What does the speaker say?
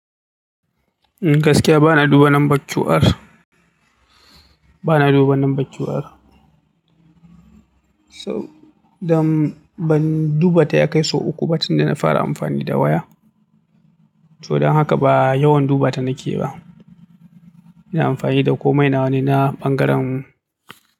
Gaskiya bana duba number QR, bana duba number QR. So dan ban dubata ya kai sau uku ba tunda na fara amfani da waya. To don haka ba yawan dubata nake ba. Ina amfani da komai na wane na ɓangaren.